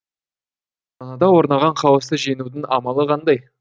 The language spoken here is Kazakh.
санада орнаған хаосты жеңудің амалы қандай